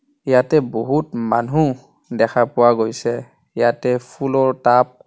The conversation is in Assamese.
ইয়াতে বহুত মানুহ দেখা পোৱা গৈছে ইয়াতে ফুলৰ টাব --